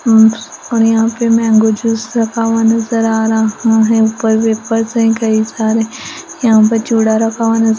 अम्पस और यहाँ पे मैंगो जूस रखा हुआ नज़र आ रहा है ऊपर वेपर्स हैं कई सारे यहाँ पर चूड़ा रखा हुआ नज़ --